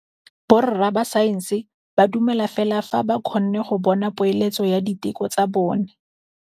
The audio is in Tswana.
Borra saense ba dumela fela fa ba kgonne go bona poeletsô ya diteko tsa bone.